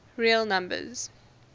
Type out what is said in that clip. real numbers